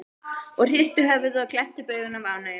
og hristu höfuðið og glenntu upp augun af ánægju.